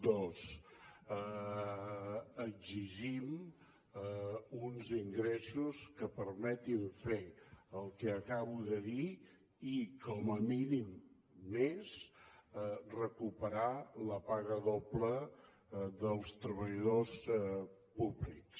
dues exigim uns ingressos que permetin fer el que acabo de dir i com a mínim més recuperar la paga doble dels treballadors públics